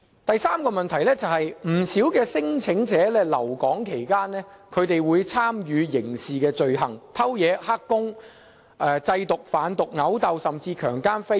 第三個問題是，不少聲請者在留港期間參與刑事罪行，例如偷竊、當"黑工"、製毒、犯毒、毆鬥，甚至強姦和非禮。